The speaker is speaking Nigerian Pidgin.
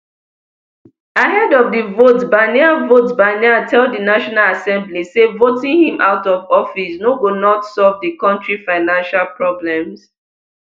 ahead of di vote barnier vote barnier tell di national assembly say voting him out of office no go not solve di kontri financial problems